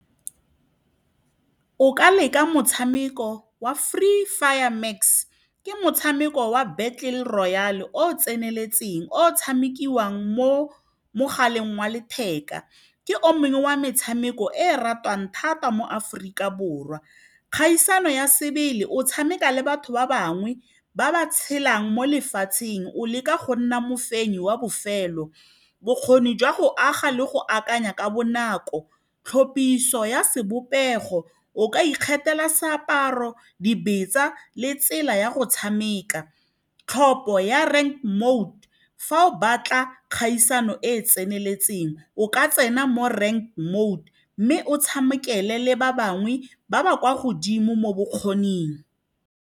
O ka leka motshameko wa Free Fire Max ke motshameko wa battle royal o o tseneletseng, o tshamekiwang mo mogaleng wa letheka. Ke o mong wa metshameko e ratiwang thata mo Aforika Borwa. Kgaisano ya sebele, o tshameka le batho ba bangwe ba ba tshelang mo lefatsheng, o leka go nna mofenyi wa bofelo. Bokgoni jwa go aga le go akanya ka bonako, tlhophiso ya sebopego, o ka ikgethela seaparo, dibetsa le tsela ya go tshameka. Tlhopho ya rent mode, fa o batla kgaisano e e tseneletseng, o ka tsena mo rent mode mme o tshamekele le ba bangwe ba ba kwa godimo mo bokgoning.